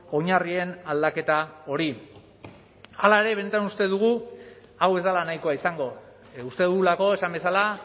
oinarrien aldaketa hori hala ere benetan uste dugu hau ez dela nahikoa izango uste dugulako esan bezala